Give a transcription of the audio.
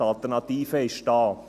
die Alternative ist da.